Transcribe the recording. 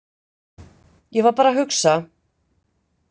Ég var bara að hugsa.